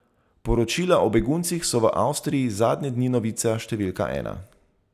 Poročila o beguncih so v Avstriji zadnje dni novica številka ena.